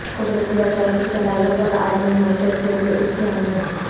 قدرتی وسائل کی صلاحیت اور عالمی معیشت کے لئے اس کی اہمیت